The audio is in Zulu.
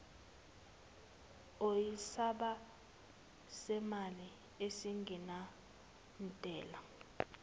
oyisamba semali esingenantela